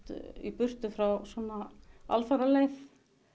í burtu frá alfaraleið